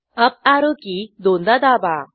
Arrow key दोनदा दाबा